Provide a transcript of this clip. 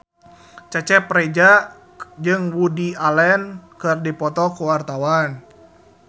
Cecep Reza jeung Woody Allen keur dipoto ku wartawan